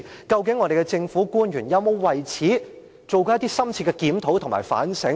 究竟政府官員有否為此做過深切檢討和反省？